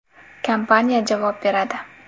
Kompaniya javob beradi.